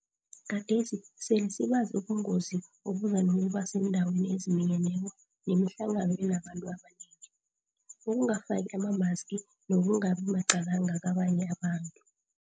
Gadesi sele sibazi ubungozi obuza nokuba seendaweni eziminyeneko nemihlangano enabantu abanengi, ukungafaki amamaski nokungabi maqalanga kabanye abantu.